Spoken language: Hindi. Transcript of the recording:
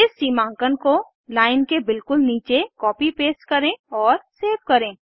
इस सीमांकन को लाइन के बिल्कुल नीचे कॉपी पेस्ट करें और सेव करें